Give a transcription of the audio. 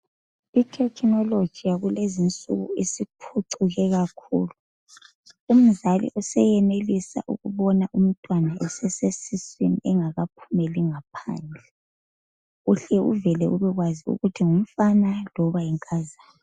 Ithekinoloji yakulezinsuku isiphucuke kakhulu. Umzali useyenelisa ukubona umntwana esesiswini engakaphumeli ngaphandle phandle uhle uveke ubekwazi ukuthi ngumfana kumbeni yinkazana.